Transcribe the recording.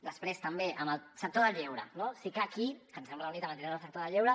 després també en el sector del lleure no sí que aquí que ens hem reunit amb entitats del sector del lleure